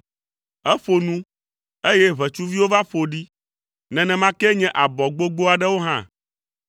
Eƒo nu, eye ʋetsuviwo va ƒo ɖi, nenema kee nye abɔ gbogbo aɖewo hã;